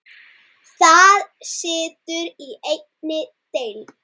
Það situr í einni deild.